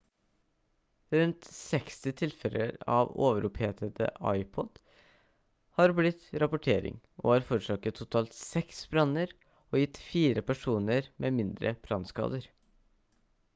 rundt 60 tilfeller av overopphetede ipod-er har blitt rapportering og har forårsaket totalt seks branner og gitt fire personer med mindre brannskader